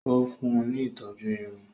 Ó fún un ní ìtọ́jú Irun